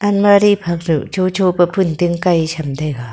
almari phang duh chocho pe phunting kai cham taiga.